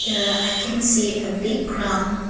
here i can see a big ground.